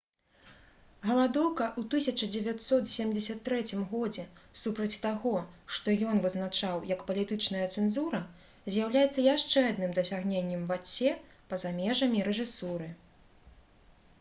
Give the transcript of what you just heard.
галадоўка ў 1973 годзе супраць таго што ён вызначаў як палітычная цэнзура з'яўляецца яшчэ адным дасягненнем вацье па-за межамі рэжысуры